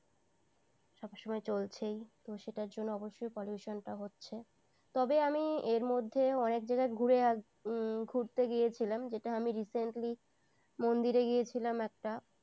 সব সময় চলছেই তো সেটার জন্য অবশ্যই pollution টা হচ্ছে তবে আমি এর মধ্যে অনেক জায়গায় ঘুরে আসলাম হুম ঘুরতে গিয়েছিলাম যেটা আমি recently মন্দিরে গিয়েছিলাম একটা